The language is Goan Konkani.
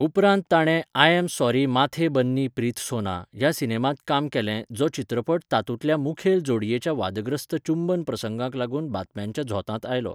उपरांत ताणें I am sorry Mathe Banni Preethsona ह्या सिनेमांत काम केलें जो चित्रपट तातूंतल्या मुखेल जोडयेच्या वादग्रस्त चुंबन प्रसंगाक लागून बातम्यांच्या झोतांत आयलो.